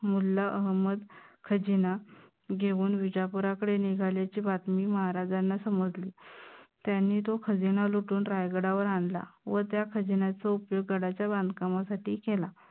मुल्ला अहमद खजिना घेऊन विजापूराकडे निघाल्याची बातमी महाराजांना समजली. त्यांनी तो खजिना लुटून रायगडावर आणला व त्या खजिन्याचा उपयोग गडाच्या बांधकामासाठी केला.